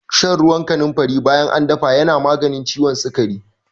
Shan ruwan kanunfari bayan an dafa yana maganin ciwon sikari.